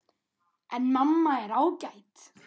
En mamma er ágæt.